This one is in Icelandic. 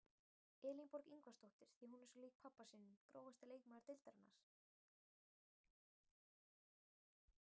Elínborg Ingvarsdóttir því hún er svo lík pabba sínum Grófasti leikmaður deildarinnar?